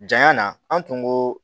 Janya na an tun ko